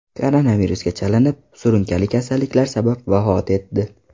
koronavirusga chalinib, surunkali kasalliklar sabab vafot etdi.